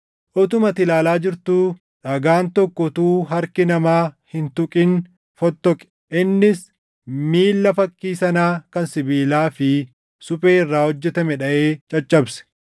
Utuma ati ilaalaa jirtuu dhagaan tokko utuu harki namaa hin tuqin fottoqe. Innis miilla fakkii sanaa kan sibiilaa fi suphee irraa hojjetame dhaʼee caccabse.